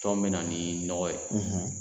Tɔn bɛ na ni nɔgɔ ye.